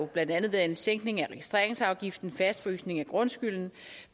blandt andet været en sænkning af registreringsafgiften en fastfrysning af grundskylden